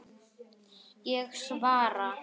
Ég svara.